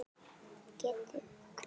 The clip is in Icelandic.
Getið hvað?